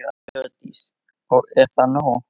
Hjördís: Og er það nóg?